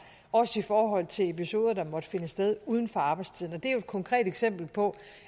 også i forhold til episoder der måtte finde sted uden for arbejdstiden og det er jo et konkret eksempel på